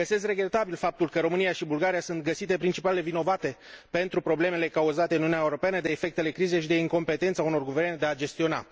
Găsesc regretabil faptul că România și Bulgaria sunt găsite principalele vinovate pentru problemele cauzate în Uniunea Europeană de efectele crizei și de incompetența unor guverne de a gestiona.